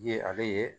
Ye ale ye